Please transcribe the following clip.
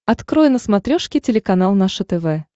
открой на смотрешке телеканал наше тв